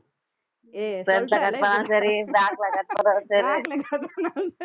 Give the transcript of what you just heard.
ஏய் front ல cut பண்ணாலும் சரி back ல cut பண்ணாலும் சரி